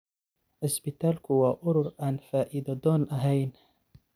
Cisbitaalku waa urur aan faa'iido doon ahayn.